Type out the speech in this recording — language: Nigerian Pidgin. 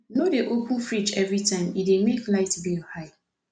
no dey open fridge every minute e dey make light bill high